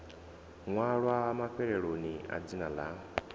ṅwalwa mafheloni a dzina ḽa